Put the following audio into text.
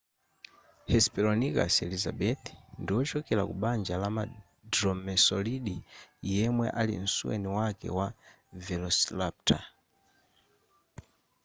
hesperonychus elizabethae ndiwochokera kubanja lama dromaeosauridae yemwe ali msuweni wake wa velociraptor